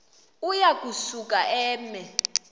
uya kusuka eme